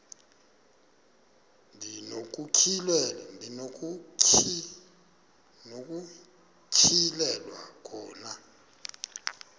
ndi nokutyhilelwa khona